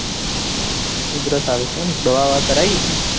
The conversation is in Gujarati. ઉધરસ આવે છે એમ દવા બવા કરાવી કરાઈ.